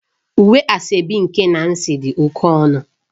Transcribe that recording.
Uwe asoebi nke Nancy dị oke ọnụ